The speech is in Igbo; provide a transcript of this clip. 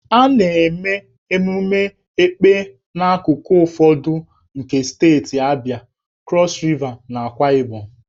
A na-eme ememme Èkpè n'akụkụ ụfọdụ nke steeti Abịa, Krọs Riva, na Akwa Ibom.